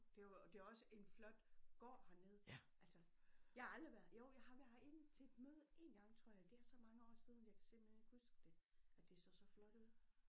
Det jo det er jo også en flot gård hernede altså jeg har aldrig været jo jeg har været herinde til et møde én gang tror jeg det er så mange år siden jeg kan simpelthen ikke huske det at det så så flot ud